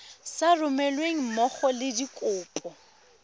sa romelweng mmogo le dikopo